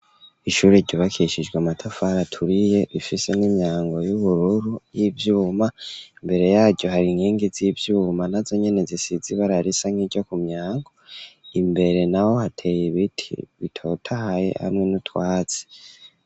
Ishuri ryubakishijwe amatafari aturiye rifise n'imyango y'ubururu y'ivyuma mbere yaryo hari inkengi z'ivyuma nazo nyene zisize ibara risa nkiryo ku myango imbere naho hateye ibiti bitotahaye hamwe n'utwatsi.